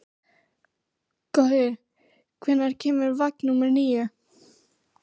Gaui, hvenær kemur vagn númer níu?